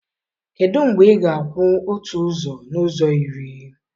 Kedu mgbe ị ga-akwụ otu ụzọ n'ụzọ iri?